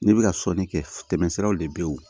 Ne bɛ ka sɔnni kɛ tɛmɛ siraw de bɛ yen o